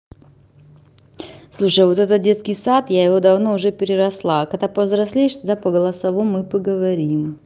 слушай вот это детский сад я его давно уже переросла когда повзрослеешь туда по голосовому и поговорим